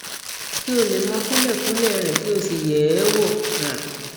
kí ó lè mọ kúlẹkúlẹ rẹ kí ó sì yẹ ẹ wò um